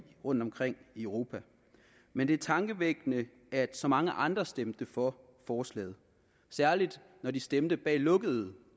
rundtomkring i europa men det er tankevækkende at så mange andre stemte for forslaget særlig når de stemte bag lukkede